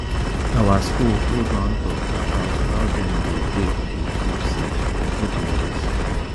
our school hold one talk about how dem dey take dey keep seed for olden days